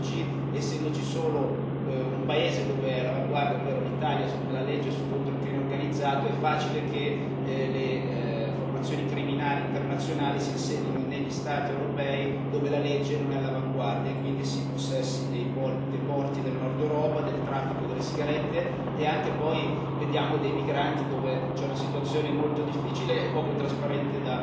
Ad oggi, essendoci solo un paese all'avanguardia, ovvero l'Italia, nella legge contro il crimine organizzato, è facile che le formazioni criminali internazionali si insedino negli Stati europei dove la legge non è all'avanguardia e quindi si impossessino dei porti del Nord Europa, del traffico delle sigarette e anche poi, vediamo, dei migranti, dove la situazione è molto difficile e poco trasparente.